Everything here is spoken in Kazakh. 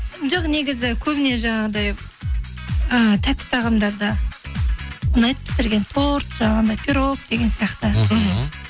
жоқ негізі көбіне жаңағыдай ыыы тәтті тағамдарды ұнайды пісірген торт жаңағындай пирог деген сияқты мхм